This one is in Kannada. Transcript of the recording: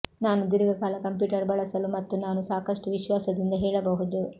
ನಾನು ದೀರ್ಘಕಾಲ ಕಂಪ್ಯೂಟರ್ ಬಳಸಲು ಮತ್ತು ನಾನು ಸಾಕಷ್ಟು ವಿಶ್ವಾಸದಿಂದ ಹೇಳಬಹುದು